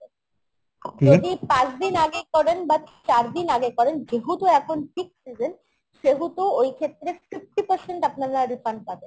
যদি পাঁচ দিন আগে করেন বা চার দিন আগে করেন যেহেতু এখন peak season সেহেতু ওই ক্ষেত্রে fifty percent আপনারা refund পাবেন